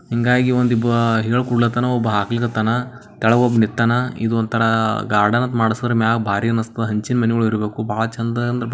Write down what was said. ಹಿಂಗಾಗಿ ಒಂದು ಇಬ್ಬರು ಹೇಳ್ಕೊಡ್ತಾವ್ನೆ ಒಬ್ಬ ಹಕ್ಲಗತ್ತಾನ್ ಕೆಲಗ್ ಒಬ್ಬವ್ ನಿಂತಾನ್ ಒಂದತರ ಗಾರ್ಡನ್ ಅದು ಮಡಸರ್ ಮ್ಯಾಗ್ ಭಾರಿ ಅನ್ಸ್ತಾದ್ ಹಂಚಿನ ಮನಿಗೊಳ್ ಇರ್ಬೇಕು ಬಹಳ ಚಂದ----